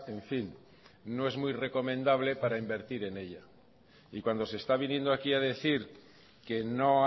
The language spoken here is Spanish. en fin no es muy recomendable para invertir en ella y cuando se está viniendo aquí a decir que no